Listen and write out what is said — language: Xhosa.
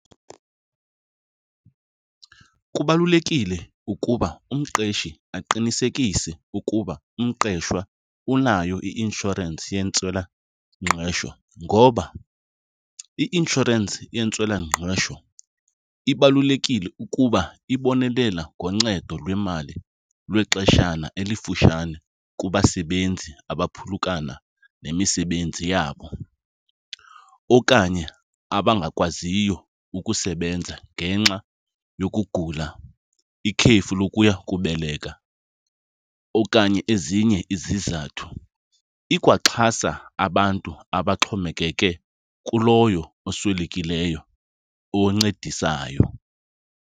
Kubalulekile ukuba umqeshi aqinisekise ukuba umqeshwa unayo i-inshorensi yentswelangqesho ngoba i-inshorensi yentswelangqesho ibalulekile ukuba ibonelela ngoncedo lwemali lwexeshana elifutshane kubasebenzi abaphulukana nemisebenzi yabo okanye abangakwaziyo ukusebenza ngenxa yokugula, ikhefu lokuya kubeleka okanye ezinye izizathu. Ikwaxhasa abantu abaxhomekeke kuloyo oswelekileyo oncedisayo.